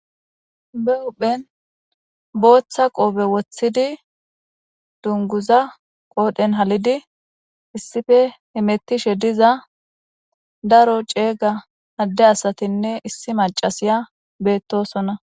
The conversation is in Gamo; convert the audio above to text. Be huphen bota qobe wotidi dunguza qodhen halidi issipe hametishe diza daro c'ega ade asatine issi mac'asiya betosona.